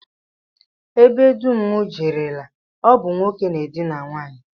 Ebe dum m jerela, ọ bụ nwoke na-edina nwaanyị